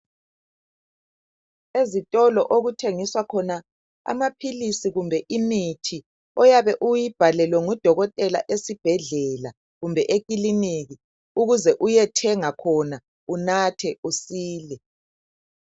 Ezitolo okuthengiswa khona amaphilisi kumbe imithi oyabe uyibhalelwe ngudokotela esibhedlela kumbe ekiliniki ukuze uyethenga khona unathe usize